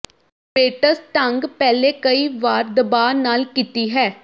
Bates ਢੰਗ ਪਹਿਲੇ ਕਈ ਵਾਰ ਦਬਾ ਨਾਲ ਕੀਤੀ ਹੈ